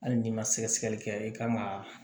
Hali n'i ma sɛgɛsɛgɛli kɛ i kan ga